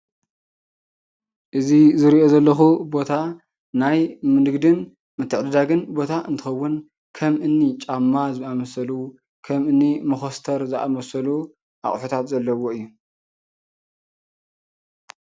እዚ ዝሪኦ ዘለኩ ቦታ ናይ ንግድን ምትዕድዳግን ቦታ እንትኸውን ከም እኒ ጫማ ዝኣምሰሉ፣ ከም እኒ መኮስተር ዝኣምሰሉ ኣቑሕታት ዘለዎ እዩ፡፡